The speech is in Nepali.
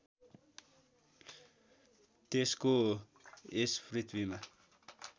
त्यसको यस पृथ्वीमा